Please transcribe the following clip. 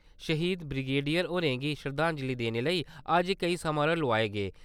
श्हीद ब्रिगेडियर होरें गी शरदांजलि देने लेई अज्ज केई समारोह लोआए गे।